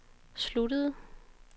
sluttede